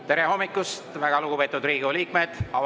Tere hommikust, väga lugupeetud Riigikogu liikmed!